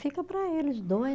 Fica para eles dois.